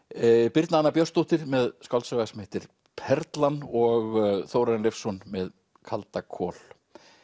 birna Anna Björnsdóttir með skáldsögu sem heitir Perlan og Þórarinn Leifsson með kaldakol